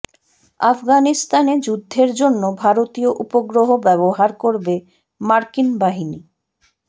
আফগানিস্তানে যুদ্ধের জন্য ভারতীয় উপগ্রহ ব্যবহার করবে মার্কিন বাহিনী